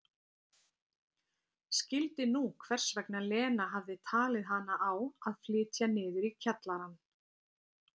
Skildi nú hvers vegna Lena hafði talið hana á að flytja niður í kjallarann.